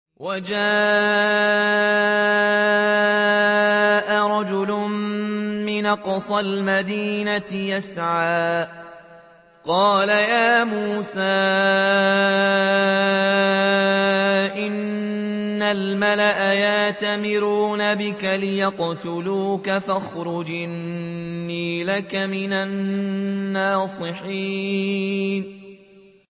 وَجَاءَ رَجُلٌ مِّنْ أَقْصَى الْمَدِينَةِ يَسْعَىٰ قَالَ يَا مُوسَىٰ إِنَّ الْمَلَأَ يَأْتَمِرُونَ بِكَ لِيَقْتُلُوكَ فَاخْرُجْ إِنِّي لَكَ مِنَ النَّاصِحِينَ